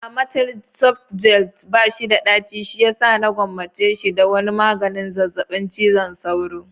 Amatel soft gel bashi da daci shiyasa na gwammace shi da wani maganin zazzabin cizon sauro.